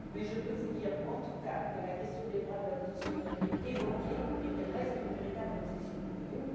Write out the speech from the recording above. Mais je peux vous dire, en tout cas, que la question des droits de l'homme a, non seulement, été évoquée, mais qu'elle reste une véritable obsession pour nous.